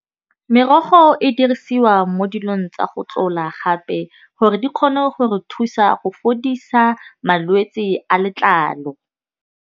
Merogo e dirisiwa mo dilong tsa go tlola gape, gore di kgone go re thusa go fodisa malwetsi a letlalo.